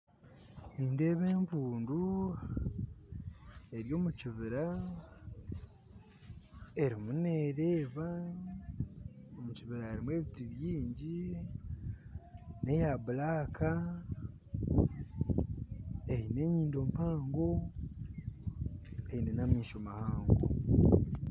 Nindeeba empuundu eri omu kibiira erimu nereeba kandi omu kibiira harimu ebiiti baingi, empuundu egi neri kwirangura, eine enyindo mpango n'amaisho mahango